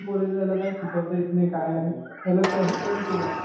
बोलायचो ह्याला काही शिकवता येत नाही. काही नाही. याला सर कोणी केला.